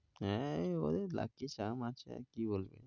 হ্যাঁ ওই ওদের আছে আর কি বলবি।